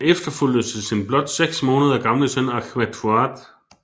Han efterfulgtes af sin blot seks måneder gamle søn Ahmed Fuad